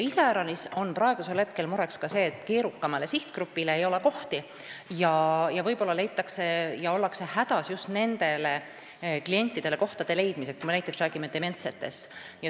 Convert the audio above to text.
Iseäranis on praegu mure ka selles, et keerukamale sihtgrupile ei ole kohti ja ollakse hädas just nendele klientidele, näiteks dementsetele inimestele, kohtade leidmisega.